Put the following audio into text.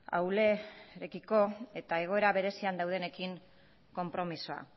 ahulekiko eta egoera berezian daudenekin konpromisoa